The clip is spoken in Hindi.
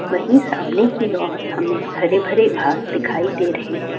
वही सामने की ओर हमें हरे-भरे घास दिखाई दे रहे हैं।